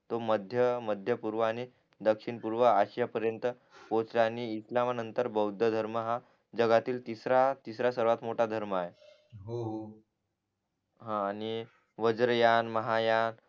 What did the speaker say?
तो मध्य मध्य पूर्व आणि दक्षिण पूर्व आशिया पर्यंत पोहचला आणि इस्लाम नंतर बौद्ध धर्म हा जगातील तिसरा तिसरा सर्वात मोठा धर्म आहे हो हा आणि वज्रयान महायान